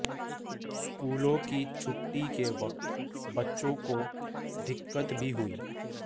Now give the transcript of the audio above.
स्कूलों की छुट्टी के वक्त बच्चों को दिक्कत भी हुई